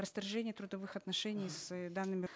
расторжение трудовых отношений с данными